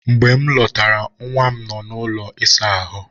Mgbe m lọtara, nwa m nọ n'ụlọ ịsa ahụ.